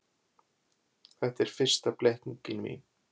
Þetta var fyrsta blekkingin mín.